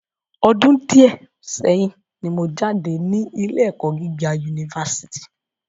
Ọdún díẹ̀ sẹ́yín ni mo jáde ní ilé ẹ̀kọ́ gíga Unifásítì